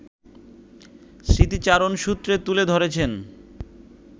স্মৃতিচারণসূত্রে তুলে ধরেছেন